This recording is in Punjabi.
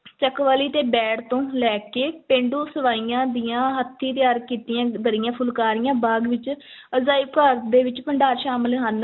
ਚਕਵਾਲੀ ਤੇ ਬੈੜ ਤੋਂ ਲੈ ਕੇ ਪੇਂਡੂ ਸਵਾਈਆਂ ਦੀਆਂ ਹੱਥੀਂ ਤਿਆਰ ਕੀਤੀਆਂ ਦਰੀਆਂ, ਫੁਲਕਾਰੀਆਂ ਬਾਗ਼ ਵਿੱਚ ਅਜਾਇਬ ਘਰ ਦੇ ਵਿੱਚ ਭੰਡਾਰ ਸ਼ਾਮਲ ਹਨ।